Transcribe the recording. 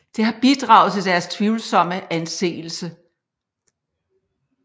Det har bidraget til deres tvivlsomme anseelse